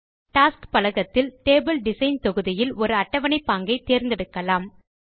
tasks பலகத்தில் table design தொகுதியில் ஒரு அட்டவணை பாங்கை தேர்ந்தெடுக்கலாம்